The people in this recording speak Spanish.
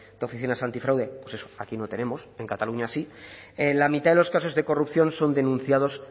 de oficinas antifraude aquí no tenemos en cataluña sí la mitad de los casos de corrupción son denunciados